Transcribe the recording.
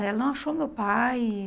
Ela não achou meu pai.